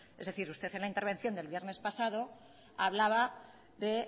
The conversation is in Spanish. es decir usted en la intervención del viernes pasado hablaba de